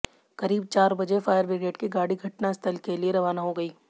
करीब चार बजे फायर ब्रिगेड की गाड़ी घटनास्थल के लिए रवाना हो गई